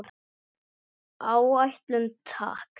Áætlun, takk.